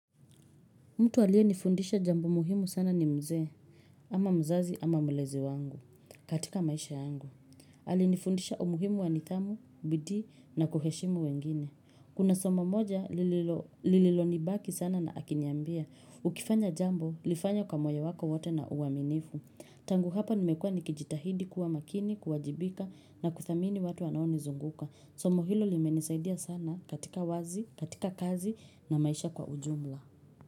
Mtu aliye nifundisha jambo muhimu sana ni mzee, ama mzazi ama mlezi wangu katika maisha yangu. Alinifundisha umuhimu wanidhamu, bidii na kuheshimu wengine. Kuna somo moja lililo nibaki sana akiniambia. Ukifanya jambo, lifanye kwa moyo wako wote na uwaminifu. Tangu hapa nimekua nikijitahidi kuwa makini, kuwajibika na kuthamini watu wanao nizunguka. Somo hilo limenisaidia sana katika wazi, katika kazi na maisha kwa ujumla.